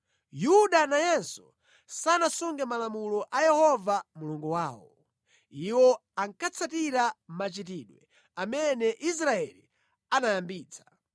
Yuda nayenso sanasunge malamulo a Yehova Mulungu wawo. Iwo ankatsatira machitidwe amene Israeli anayambitsa.